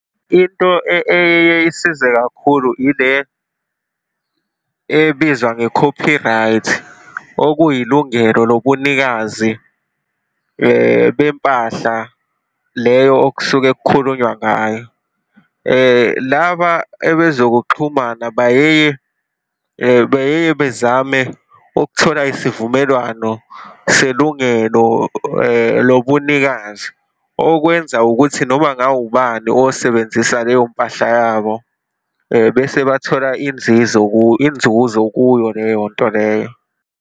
Into eyeye isize kakhulu ile ebizwa nge-copyright, okuyilungelo lobunikazi bempahla leyo okusuke kukhulunywa ngayo. Laba ebezokuxhumana bayeye, beyeye bezame ukuthola isivumelwano selungelo lobunikazi, okwenza ukuthi noma ngawubani osebenzisa leyo mpahla yabo, bese bathola inzizo, inzuzo kuyo leyo nto leyo.